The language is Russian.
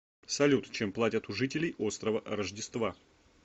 салют чем платят у жителей острова рождества